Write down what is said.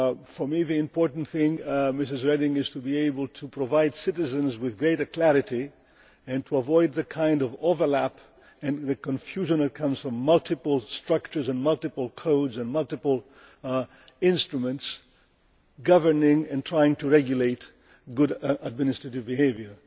For me the important thing, Ms Reding, is to be able to provide citizens with greater clarity and to avoid the kind of overlap and confusion that comes from multiple structures, multiple codes and multiple instruments governing and trying to regulate good administrative behaviour.